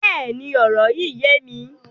Bẹ́ẹ̀ni, ọ̀rọ̀ yín yẹ̀ mí.